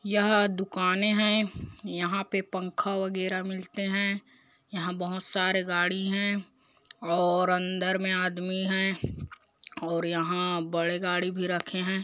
यह दुकानें है यहाँ पे पंखा वगैरा मिलते है यहाँ बहोत सारे गाड़ी है और अंदर में आदमी है और यहाँ बड़े गाड़ी भी रखे है।